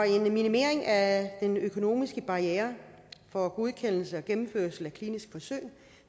en minimering af den økonomiske barriere for godkendelse og gennemførelse af kliniske forsøg